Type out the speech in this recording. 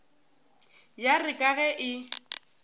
ya re ka ge e